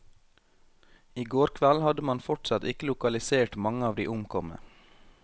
I går kveld hadde man fortsatt ikke lokalisert mange av de omkomne.